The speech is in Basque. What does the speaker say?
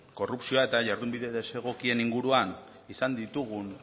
korrupzioa eta jardun bide desegokien inguruan izan ditugun